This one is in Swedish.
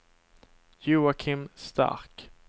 Joakim Stark